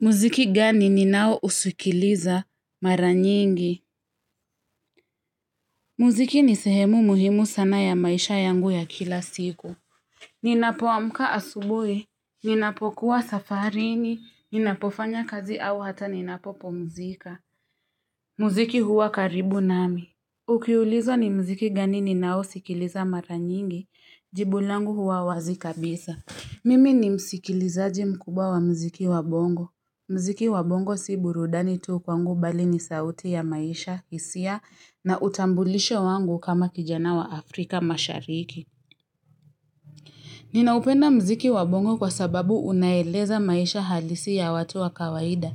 Muziki gani ninao usikiliza mara nyingi? Muziki ni sehemu muhimu sana ya maisha yangu ya kila siku. Ninapoamka asubui, ninapokuwa safarini, ninapofanya kazi au hata ninapopumzika. Muziki huwa karibu nami. Ukiulizwa ni mziki gani ni nao usikiliza mara nyingi, jibulangu huwa wazi kabisa. Mimi ni msikilizaji mkubwa wa mziki wabongo. Mziki wabongo si burudani tu kwangu bali ni sauti ya maisha, kisia na utambulisho wangu kama kijana wa Afrika mashariki. Ninaupenda mziki wabongo kwa sababu unaeleza maisha halisi ya watu wa kawaida.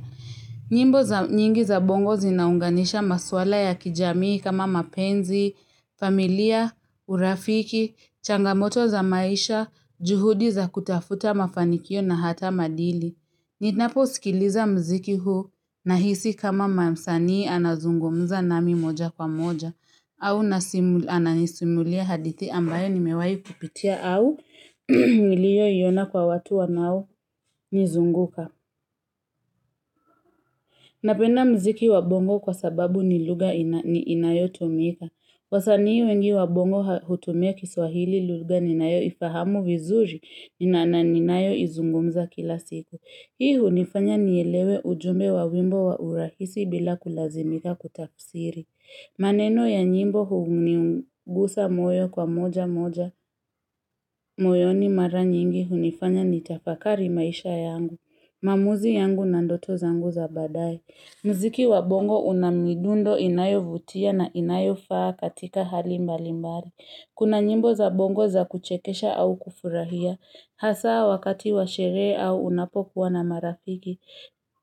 Nyimbo nyingi za bongo zinaunganisha maswala ya kijamii kama mapenzi, familia, urafiki, changamoto za maisha, juhudi za kutafuta mafanikio na hata madili. Ninapo sikiliza mziki huu nahisi kama mamsanii anazungumuza nami moja kwa moja au nanisimulia hadithi ambayo nimewayo kupitia au miliyo yona kwa watu wanao nizunguka Napenda mziki wabongo kwa sababu ni luga inayotumika wasanii wengi wabongo hutumia kiswahili luga ninayoifahamu vizuri nina ninayo izungumuza kila siku Hii hunifanya nielewe ujume wa wimbo wa urahisi bila kulazimika kutafsiri. Maneno ya nyimbo huniugusa moyo kwa moja moja. Moyoni mara nyingi hunifanya nitafakari maisha yangu. Mamuzi yangu na ndoto zangu za badae. Mziki wa bongo unamidundo inayovutia na inayofaa katika hali mbalimbari. Kuna nyimbo za bongo za kuchekesha au kufurahia. Hasa wakati wa shere au unapo kuwa na marafiki.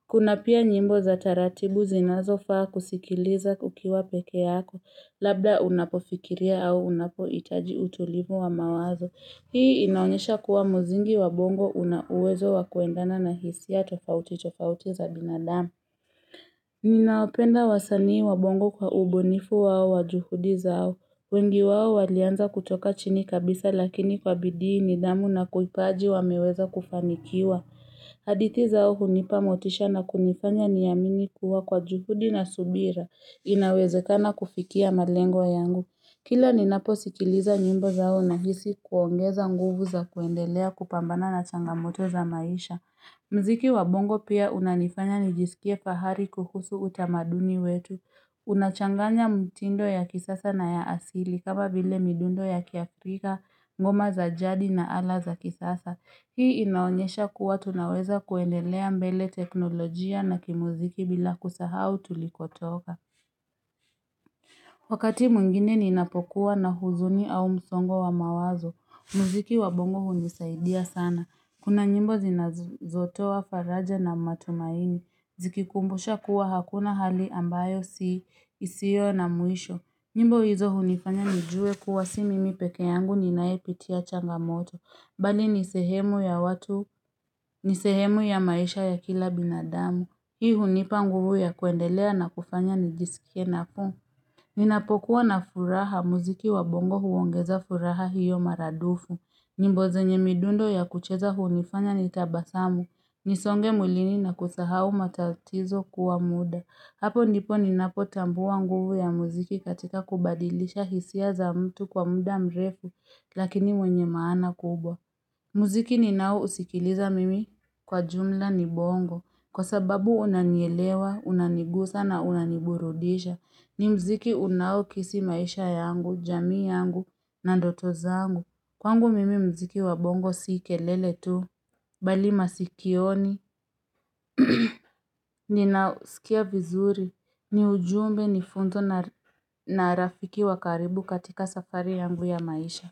Kuna pia nyimbo za taratibu zinazo faa kusikiliza ukiwa peke yako. Labda unapo fikiria au unapoitaji utulivu wa mawazo. Hii inaonyesha kuwa muzingi wabongo unauwezo wakuendana na hisiya tofauti tofauti za binadamu. Ninaopenda wasani wabongo kwa ubunifu wao wajuhudi zao. Wengi wawo walianza kutoka chini kabisa lakini kwa bidii nidamu na kuipaji wameweza kufanikiwa. Haditi zao hunipa motisha na kunifanya niyamini kuwa kwa juhudi na subira inawezekana kufikia malengo yangu. Kila ninapo sikiliza nyimbo zao nahisi kuongeza nguvu za kuendelea kupambana na changamoto za maisha. Mziki wabongo pia unanifanya nijisikie fahari kuhusu utamaduni wetu. Unachanganya mtindo ya kisasa na ya asili kama vile midundo ya kiafrika, ngoma za jadi na ala za kisasa Hii inaonyesha kuwa tunaweza kuendelea mbele teknolojia na kimuziki bila kusahau tulikotoka Wakati mungine ninapokuwa na huzuni au msongo wa mawazo Muziki wabongo hundisaidia sana Kuna nyimbo zinazotowa faraja na matumaini Zikikumbusha kuwa hakuna hali ambayo si isio na muisho nyimbo hizo hunifanya nijue kuwa si mimi peke yangu ninaepitia changamoto Bali nisehemu ya watu, nisehemu ya maisha ya kila binadamu Hii hunipa nguvu ya kuendelea na kufanya nijisikie napo Ninapokuwa na furaha muziki wa bongo huongeza furaha hiyo maradufu nyimbo zenye midundo ya kucheza hunifanya nitabasamu Nisonge muilini na kusahau matatizo kuwa muda. Hapo ndipo ninapotambuwa nguvu ya muziki katika kubadilisha hisia za mtu kwa muda mrefu, lakini mwenye maana kubwa. Muziki ninao usikiliza mimi kwa jumla ni bongo. Kwa sababu unanielewa, unanigusa na unaniburudisha. Ni muziki unaukisi maisha yangu, jamii yangu na ndoto zangu. Kwangu mimi muziki wa bongo sikelele tu. Bali masikioni, ninausikia vizuri, ni ujumbe ni funzo na rafiki wakaribu katika safari yangu ya maisha.